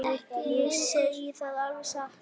Ég segi það alveg satt.